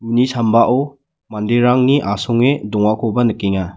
uni sambao manderangni asonge dongakoba nikenga.